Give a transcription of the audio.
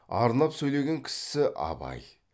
арнап сөйлеген кісісі абай